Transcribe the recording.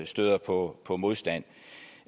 støder på på modstand